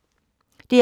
DR P2